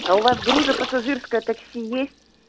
а у вас грузопассажирское такси есть